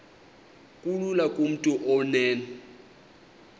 kulula kumntu onen